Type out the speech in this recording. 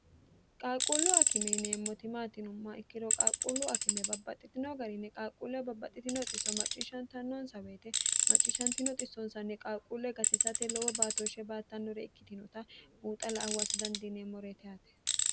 qaaqquullu akime yineemmoti maat yineemmoha ikkiro qaaqquullu akime babbaxxitino garinni qaaqquulle babbaxxitino xisso macciishshantannoonsa woyite macciishshantino xissoonsanni qaaqquulle gatisate lowo baatooshshe baattannore ikkitinota buuxa la"a huwata dandiinemmote yaate